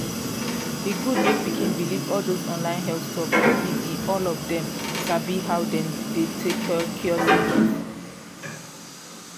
e good mek pikin believe all dose online health talk no be be all of dem sabi how dem de take cure sickness.